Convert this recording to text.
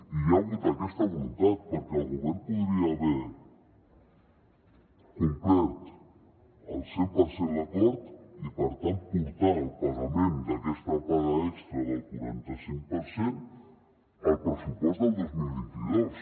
i hi ha hagut aquesta voluntat perquè el govern podria haver complert al cent per cent l’acord i per tant portar el pagament d’aquesta paga extra del quaranta cinc per cent al pressupost del dos mil vint dos